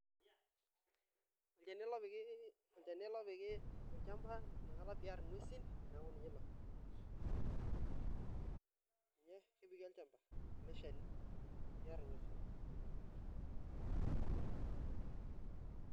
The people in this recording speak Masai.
Olchani ele opiki, olchani ele opiki, olchamba inakata pearr ing'wesin neeku ninye ilo, ee kepiki olchamba ele shani pearr ing'wesin.